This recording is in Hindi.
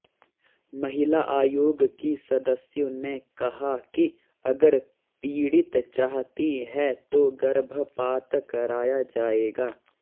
महिला आयोग की सदस्यों ने कहा कि अगर पीड़ित चाहती है तो गर्भपात कराया जाएगा